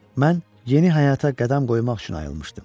Mən yeni həyata qədəm qoymaq üçün ayılmışdım.